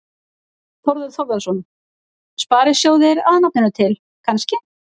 Þorbjörn Þórðarson: Sparisjóðir að nafninu til, kannski?